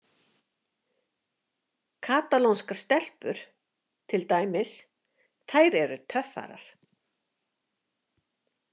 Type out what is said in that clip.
Katalónskar stelpur, til dæmis, þær eru töffarar.